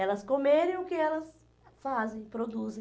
Elas comerem o que elas fazem, produzem.